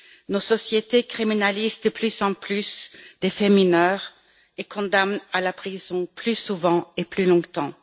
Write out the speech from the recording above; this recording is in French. Nos sociétés criminalisent de plus en plus des faits mineurs et condamnent à la prison plus souvent et plus longtemps.